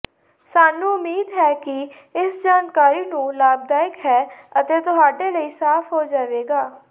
ਸਾਨੂੰ ਉਮੀਦ ਹੈ ਕਿ ਇਸ ਜਾਣਕਾਰੀ ਨੂੰ ਲਾਭਦਾਇਕ ਹੈ ਅਤੇ ਤੁਹਾਡੇ ਲਈ ਸਾਫ ਹੋ ਜਾਵੇਗਾ